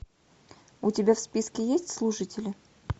у тебя в списке есть слушатели